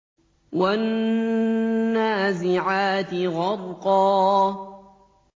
وَالنَّازِعَاتِ غَرْقًا